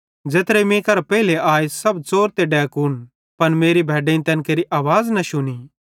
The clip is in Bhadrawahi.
ज़ेत्रे मीं करां पेइले आए सब च़ोर ते डैकून पन मेरी भैड्डेईं तैन केरि न शुनी